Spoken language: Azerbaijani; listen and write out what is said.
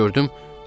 gördüm.